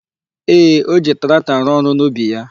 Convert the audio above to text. Ee, o ji traktọ arụ ọrụ n'ubi ya.